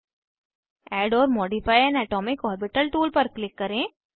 add or modify an atomic orbital tool पर click करें